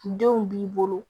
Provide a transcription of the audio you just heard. Denw b'i bolo